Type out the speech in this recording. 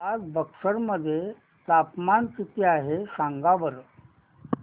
आज बक्सर मध्ये तापमान किती आहे सांगा बरं